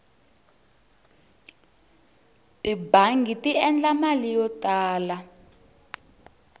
tibangi ti endla mali yo tala